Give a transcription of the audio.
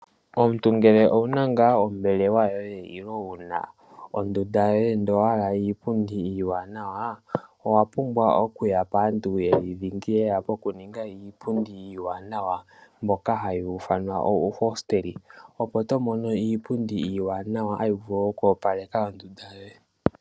Omuntu ngelw owuna ngaa ombelewa yoye nenge wuna ondunda yoye ndele owahala iipundi iiwanawa owapumbwa okuya paantu oyo dhingi oyo haya ningi iipundi iiwanawa.